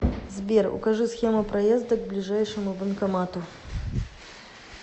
сбер укажи схему проезда к ближайшему банкомату